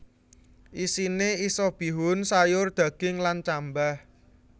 Isine isa bihun sayur daging lan cambah